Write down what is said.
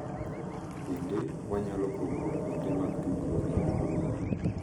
Bende, wanyalo pogo kuonde mag tudruok mag mbui